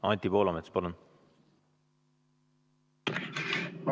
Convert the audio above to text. Anti Poolamets, palun!